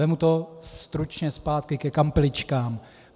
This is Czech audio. Vezmu to stručně zpátky ke kampeličkám.